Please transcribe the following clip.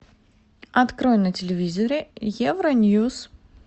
открой на телевизоре евроньюс